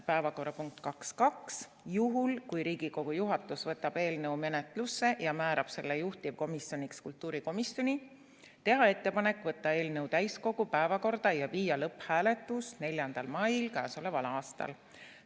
Päevakorrapunkt 2.2: juhul, kui Riigikogu juhatus võtab eelnõu menetlusse ja määrab selle juhtivkomisjoniks kultuurikomisjoni, teha ettepanek võtta eelnõu täiskogu päevakorda ja viia läbi lõpphääletus k.a 4. mail.